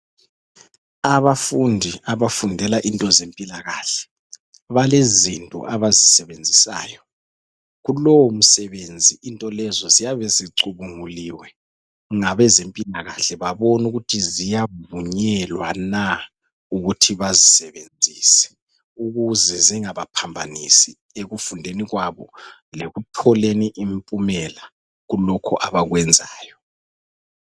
Abafundi abafundela into zempilakahle , balezinto abayisebenzisayo, kulowo msebenzi into lezo ziyabe zicubunguliwe ngabezempilakahle, babona ukuthi ziyavunyelwa na ukuthi bazisebenzise ukuze źingabaphambanisi ekufundeni kwabo, lekutholeni impumela kulokho abakwenzayo.